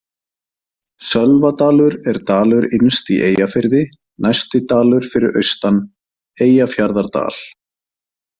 Sölvadalur er dalur innst í Eyjafirði, næsti dalur fyrir austan Eyjafjarðardal.